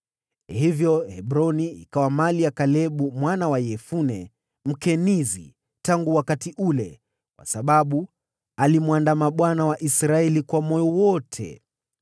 Hivyo Hebroni imekuwa mali ya Kalebu mwana wa Yefune Mkenizi tangu wakati ule, kwa sababu alimwandama Bwana , Mungu wa Israeli, kwa moyo wote.